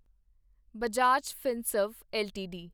Bajaj Finserv LTD